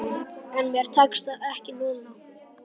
En mér tekst það ekki núna.